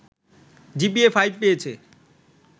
GPA five পেয়েছে